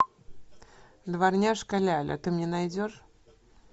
дворняжка ляля ты мне найдешь